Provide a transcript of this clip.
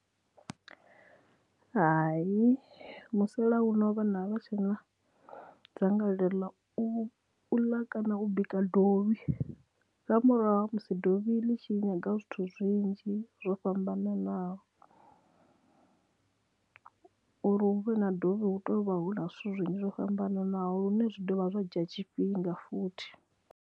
Hai musala uno vhana avha tshena dzangalelo la u ḽa kana u bika dovhi nga murahu ha musi dovhi ḽi tshi nyaga zwithu zwinzhi zwo fhambananaho uri hu vhe na dovhi hu tou vha hu na zwithu zwinzhi zwo fhambananaho lune zwi dovha zwa dzhia tshifhinga futhi.